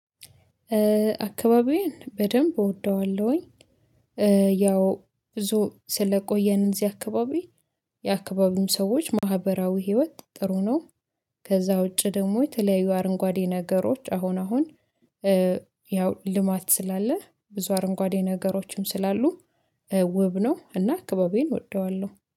አካባቢዬን በደንብ እወደዋለሁኝ። ያው ብዙ ስለቆየን እንደዚህ አካባቢ የአካባቢም ሰዎች ማህበራዊ ህይወት ጥሩ ነው። ከዛ ውጪ ደግሞ የተለያዩ አረንጓዴ ነገሮች አሁን አሁን። ያው ልማት ስላለ ብዙ አረንጓዴ ነገሮችም ስላሉ ውብ ነው። እና አካባቢን እወደዋለሁ